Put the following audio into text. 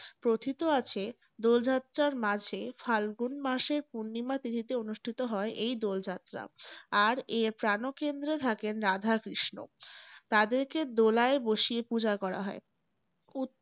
কথিত আছে, দোল যাত্রার মাঝে ফালগুন মাসে পূর্ণিমা তিথীতে অনুষ্ঠিত হয় এই দোল যাত্রা। আর এর প্রাণকেন্দ্রে থাকেন রাধাকৃষ্ণ। তাদেরকে দোলায় বসিয়ে পূজা করা হয়।